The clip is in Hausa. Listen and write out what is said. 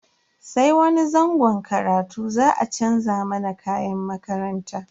Sai wani zangon karatu za a chanza mana kayan makaranta.